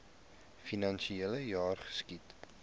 finansiele jaar geskied